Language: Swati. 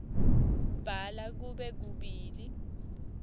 bhala kube kubili